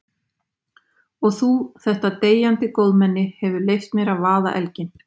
Og þú, þetta deyjandi góðmenni, hefur leyft mér að vaða elginn.